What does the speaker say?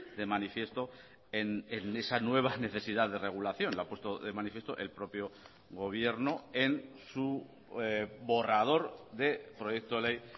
de manifiesto en esa nueva necesidad de regulación lo ha puesto de manifiesto el propio gobierno en su borrador de proyecto de ley